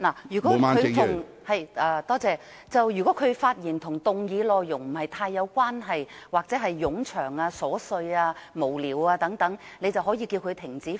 如果議員的發言內容與議題不太相關，或作出冗長、瑣屑無聊的發言，你可以要求議員停止發言。